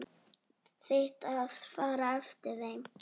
Þitt að fara eftir þeim.